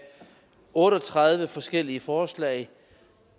otte og tredive forskellige forslag